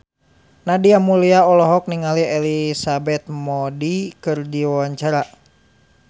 Nadia Mulya olohok ningali Elizabeth Moody keur diwawancara